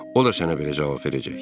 O da sənə belə cavab verəcək.